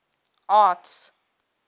arts